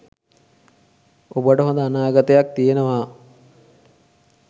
ඔබට හොඳ අනාගතයක් තියෙනවා